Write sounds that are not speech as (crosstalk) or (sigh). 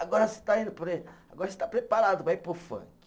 Agora você está indo, (unintelligible) agora você está preparado para ir para o funk.